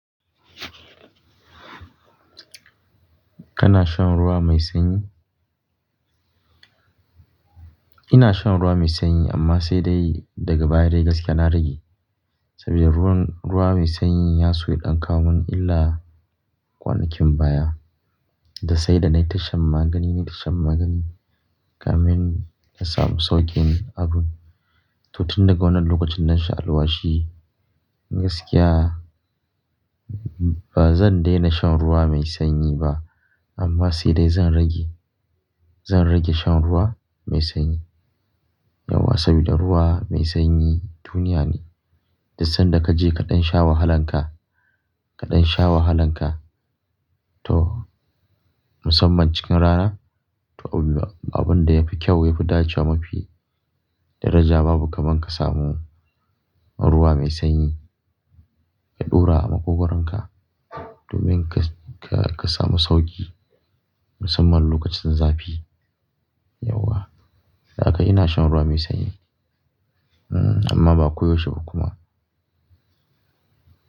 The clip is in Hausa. Kana shan ruwa mai sanyi? Ina shan ruwa mai sanyi amma sai dai daga baya dai gaskiya na rage. Sabida ruwan, ruwa mai sanyin ya so ya ɗan kawo min illa kwanakin baya. Da sai da na yi tashan magani, na yi tashan magani kamin na samu sauƙin abun. To tin daga wannan lokacin nan sha alwashi gaskiya ba zan daina shan ruwa mai sanyi ba. Amma sai dai zan rage, zan rage shan ruwa mai sanyi. Yauwa sabda ruwa mai sanyi duniya ne. Da sanda ka je kaɗan sha wahalanka, kaɗan sha wahalanka to musamman cikin rana. To abin da yafi kyau, yafi dacewa mafi daraja babu kaman ka samu ruwa mai sanyi ya ɗora a maƙogoronka domin ka, ka, ka samu sauƙi musamman lokacin zafi. Yauwa. Dan haka ina shan ruwa me sanyi. Amma ba ko yauahe ba kuma.